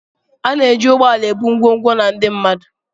A na-eji ụgbọ ala ebu ngwongwo na ndị mmadụ.